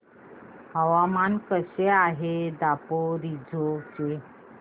हवामान कसे आहे दापोरिजो चे